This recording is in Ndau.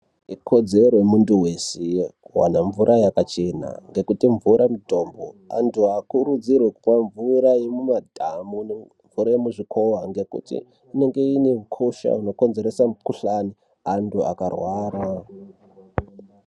Ikodzero yemuntu vese, kuvana mvura yakachena. Ngekuti mvura mutombo, antu haakurudzirwe kumwa mvura yemumadhamu nemvura yemuzvikova. Ngekuti inonga ine ukosha unokonzeresa mukuhlani, antu akarwara.